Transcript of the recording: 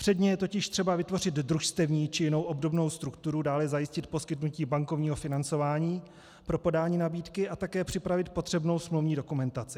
Předně je totiž třeba vytvořit družstevní či jinou obdobnou strukturu, dále zajistit poskytnutí bankovního financování pro podání nabídky a také připravit potřebnou smluvní dokumentaci.